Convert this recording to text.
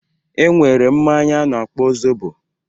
E nwere mmanya a na-akpọ zobo